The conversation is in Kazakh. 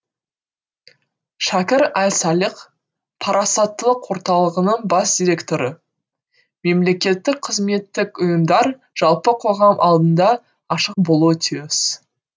шәкір әл салих парасаттылық орталығының бас директоры мемлекеттік қызметтік ұйымдар жалпы қоғам алдында ашық болуы тиіс